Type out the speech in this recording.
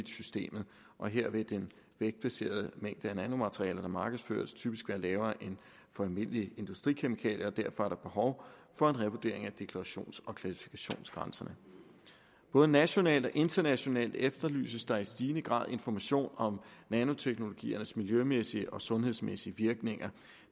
systemet og her vil den vægtbaserede mængde af nanomaterialer der markedsføres typisk være lavere end almindelige industrikemikalier og derfor er der behov for en revurdering af deklarations og klassifikationsgrænserne både nationalt og internationalt efterlyses der i stigende grad information om nanoteknologiers miljømæssige og sundhedsmæssige virkninger